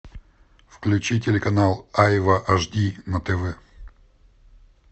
включи телеканал айва аш ди на тв